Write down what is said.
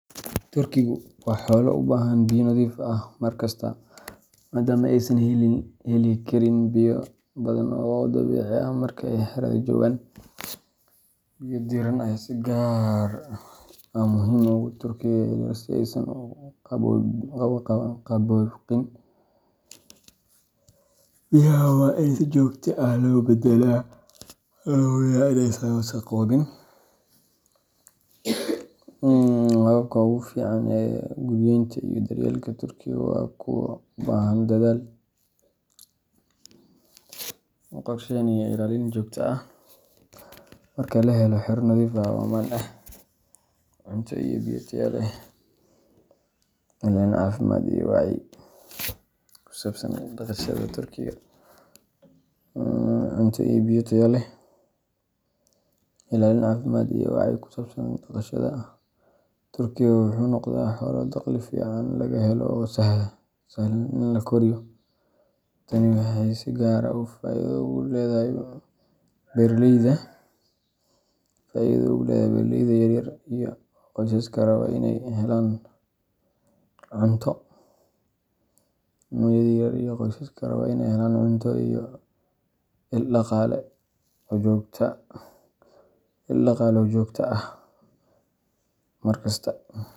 Turkigu waa xoolo u baahan biyo nadiif ah mar kasta, maadaama aysan heli karin biyo badan oo dabiici ah marka ay xerada joogaan. Biyo diirran ayaa si gaar ah muhiim ugu ah turkiga yaryar si aysan u qabooqin. Biyaha waa in si joogto ah loo beddelaa, lana hubiyaa in aysan wasakhoobin. Hababka ugu fiican ee guriyeynta iyo daryeelka turkiga waa kuwo u baahan dadaal, qorsheyn, iyo ilaalin joogto ah. Marka la helo xero nadiif ah oo ammaan ah, cunto iyo biyo tayo leh, ilaalin caafimaad, iyo wacyi ku saabsan dhaqashada, turkiga wuxuu noqdaa xoolo dakhli fiican laga helo oo sahlan in la koriyo. Tani waxay si gaar ah faa’iido ugu leedahay beeraleyda yar yar iyo qoysaska raba inay helaan cunto iyo il dhaqaale oo joogto ah markasta.